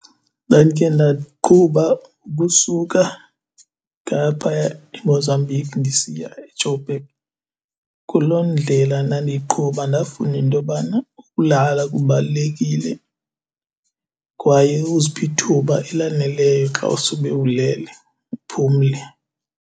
Ndandike ndaqhuba ukusuka ngaphaya eMozambique ndisiya eJoburg. Kuloo ndlela ndandiyiqhuba ndafunda intobana ukulala kubalulekile kwaye uziphe ithuba elaneleyo xa usube ulele uphumle.